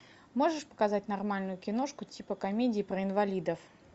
можешь показать нормальную киношку типа комедии про инвалидов